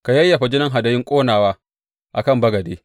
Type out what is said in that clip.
Ka yayyafa jinin hadayun ƙonawa a kan bagade.